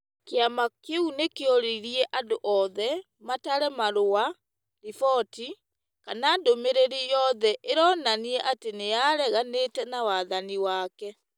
Kĩama kĩu nĩ kĩoririe andũ othe , matare marũa, riboti, kana ndũmĩrĩri o yothe ĩronania atĩ nĩ areganĩte na wathani wake,